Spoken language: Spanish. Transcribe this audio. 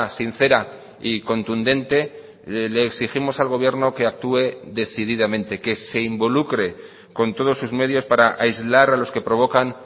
sincera y contundente le exigimos al gobierno que actúe decididamente que se involucre con todos sus medios para aislar a los que provocan